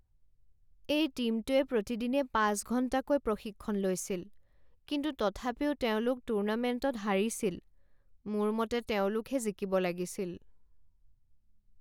এই টীমটোৱে প্ৰতিদিনে পাঁচ ঘণ্টাকৈ প্ৰশিক্ষণ লৈছিল কিন্তু তথাপিও তেওঁলোক টুৰ্নামেণ্টত হাৰিছিল। মোৰ মতে তেওঁলোকহে জিকিব লাগিছিল।